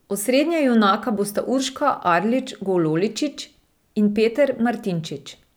Osrednja junaka bosta Urška Arlič Gololičič in Peter Martinčič.